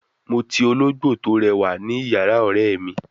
Mo ti ologbo to rewa ni iyara ore mi